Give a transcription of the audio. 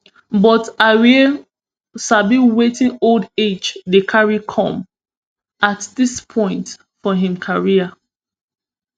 but ayew sabi wetin old age dey carry come at dis point for im career